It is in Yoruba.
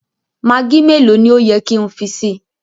Maggi mẹ̀lọ̀ ni o yẹ ki n fi sí?